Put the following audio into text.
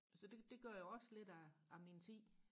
så det det gør jeg også lidt af af min tid